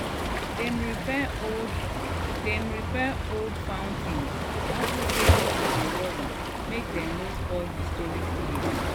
dem repair old dem repair old fountain unto say people dey worry make dem no spoil historic place